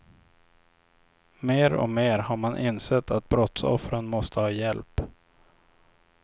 Mer och mer har man insett att brottsoffren måste ha hjälp.